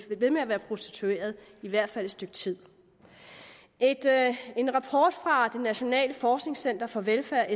ved med at være prostituerede i hvert fald et stykke tid en rapport fra sfi det nationale forskningscenter for velfærd